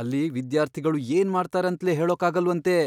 ಅಲ್ಲಿ ವಿದ್ಯಾರ್ಥಿಗಳು ಏನ್ ಮಾಡ್ತಾರೆ ಅಂತ್ಲೇ ಹೇಳೋಕಾಗಲ್ವಂತೆ.